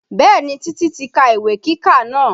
Bẹ́ẹ̀ni, Titi ti ka ìwé kíkà náà